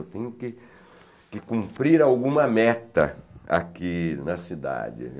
Eu tenho que que cumprir alguma meta aqui na cidade.